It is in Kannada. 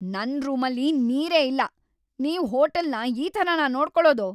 ನನ್ ರೂಮಲ್ಲಿ ನೀರೇ ಇಲ್ಲ! ನೀವು ಹೋಟೆಲ್‌ನ ಈ ಥರನ ನೋಡ್ಕೋಳೋದು?